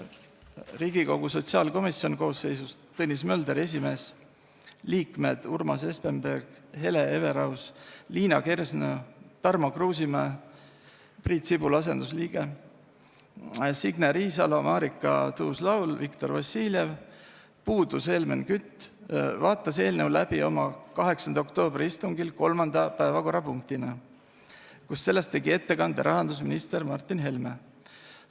Riigikogu sotsiaalkomisjon – koosseisus esimees Tõnis Mölder, liikmed Urmas Espenberg, Hele Everaus, Liina Kersna, Tarmo Kruusimäe Priit Sibula asendusliikmena, Signe Riisalo, Marika Tuus-Laul, Viktor Vassiljev, puudus Helmen Kütt – vaatas eelnõu läbi oma 8. oktoobri istungil 3. päevakorrapunktina, kus sellest tegi ettekande rahandusminister Martin Helme.